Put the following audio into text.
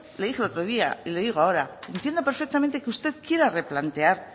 le dije el otro día y le digo ahora entiendo perfectamente que usted quiera replantear